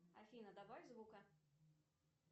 афина добавь звука